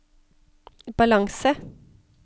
balanse